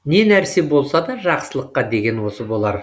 не нәрсе болсада жақсылыққа деген осы болар